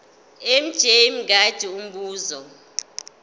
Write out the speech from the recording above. mj mngadi umbuzo